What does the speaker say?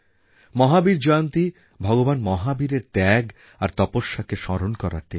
মহাবীর জয়ন্তী ভগবান মহাবীরের ত্যাগ আর তপস্যাকে স্মরণ করার দিন